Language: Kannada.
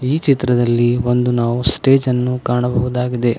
ಈ ಚಿತ್ರದಲ್ಲಿ ಒಂದು ನಾವು ಸ್ಟೇಜ ನ್ನು ಕಾಣಬಹುದಾಗಿದೆ.